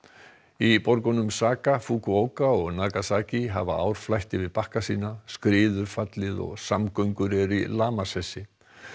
í borgunum Saga Fukuoka og Nagasaki hafa ár flætt yfir bakka sína skriður fallið og samgöngur eru í lamasessi